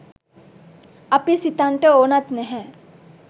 අපි සිතන්නට ඕනත් නැහැ.